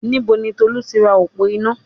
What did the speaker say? Níbo ni Tolú ti ra òpó iná?